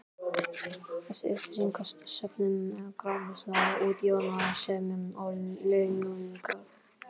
Þessi upplýsingasöfnun krafðist útsjónarsemi og launungar.